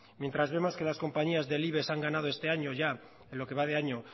mientras vemos que las compañías del ibex han ganado este año ya en lo que va de año